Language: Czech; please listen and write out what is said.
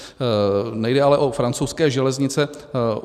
Nejde ale o francouzské železnice.